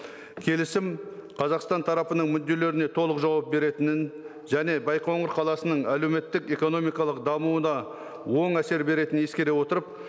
келісім қазақстан тарапының мүдделеріне толық жауап беретінін және байқоңыр қаласының әлеуметтік экономикалық дамуына оң әсер беретінін ескере отырып